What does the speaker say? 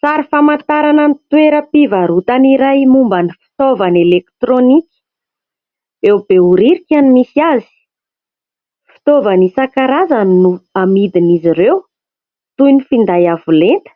Sary famantarana ny toeram-pivarotana iray momba ny fitaovana elektronika. Eo Beoririka no misy azy. Fitaovana isankarazany no amidin' izy ireo. Toy ny finday avo lenta,